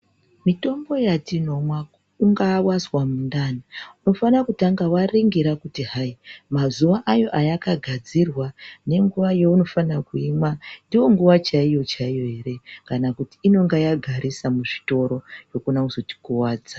Mitombo yatinomwa ungaa wanzwa mundani unofana kutanga waningira kuti mazuwa ayo ayakagadzirwa nemukuwo yainosisa kuimwa ndonguwa yacho chaiyo chaiyo ere kana kuti inenge yagarisa muzvitoro yokona kuzotikuwadza .